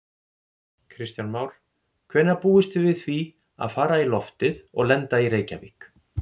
Kristján Már: Hvenær búist þið við því að fara í loftið og lenda í Reykjavík?